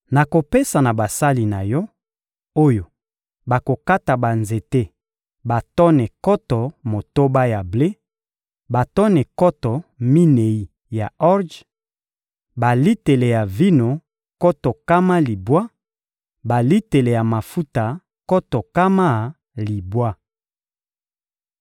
Nakopesa na basali na yo, oyo bakokata banzete batone nkoto motoba ya ble, batone nkoto minei ya orje, balitele ya vino nkoto nkama libwa, balitele ya mafuta nkoto nkama libwa.